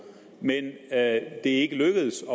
men er ikke lykkedes at